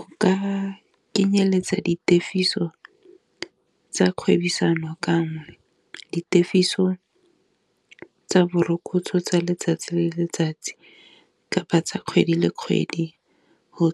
O ka kenyeletsa di tefiso tsa kgwebisano ganne di tefiso tsa borokotso tsa letsatsi le letsatsi, kapa tsa kgwedi le kgwedi go